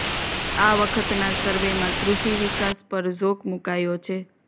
આ વખતના સર્વેમાં કૃષિ વિકાસ પર ઝોક મુકાયો છે